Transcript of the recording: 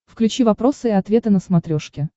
включи вопросы и ответы на смотрешке